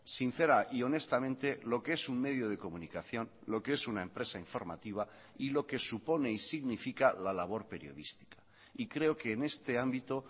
sincera y honestamente lo que es un medio de comunicación lo que es una empresa informativa y lo que supone y significa la labor periodística y creo que en este ámbito